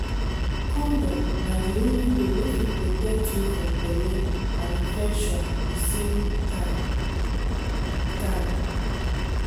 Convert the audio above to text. condom na the only way wey fit protect you from belle and infection the same time. time.